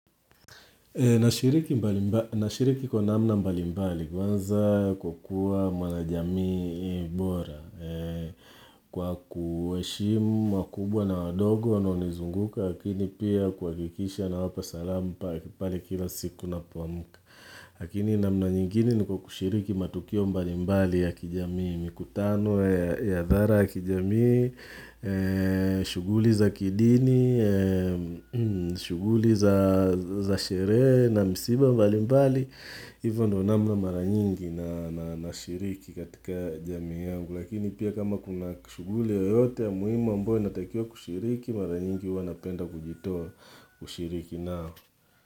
Nashiriki kwa namna mbalimbali kwanza kwa kuwa mwanajamii bora kwa kuheshimu wakubwa na wadogo wanao nizunguka lakini pia kuhakikisha nawapa salamu pale kila siku ninapoamka lakini namna nyingine ni kwa kushiriki matukio mbalimbali ya kijamii mikutano ya hadhara ya kijamii shughuli za kidini shughuli za sherehe na msiba mbalimbali hivyo ndo namna mara nyingi nashiriki katika jamii yang lakini pia kama kuna shughuli yoyote ya muhimu ambayo natakiwa kushiriki mara nyingi huwa napenda kujitoa kushiriki nao.